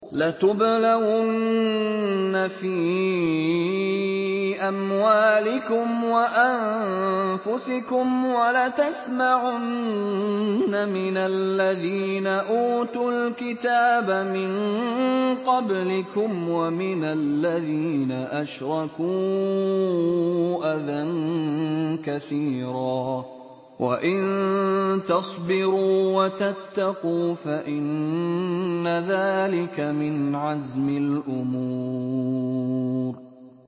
۞ لَتُبْلَوُنَّ فِي أَمْوَالِكُمْ وَأَنفُسِكُمْ وَلَتَسْمَعُنَّ مِنَ الَّذِينَ أُوتُوا الْكِتَابَ مِن قَبْلِكُمْ وَمِنَ الَّذِينَ أَشْرَكُوا أَذًى كَثِيرًا ۚ وَإِن تَصْبِرُوا وَتَتَّقُوا فَإِنَّ ذَٰلِكَ مِنْ عَزْمِ الْأُمُورِ